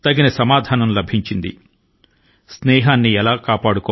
అలాగే ఏ విరోధికైనా జంకకుండా దీటైన జవాబు ను కూడా ఇవ్వగలదు